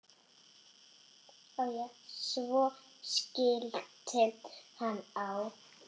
Svo skellti hann á.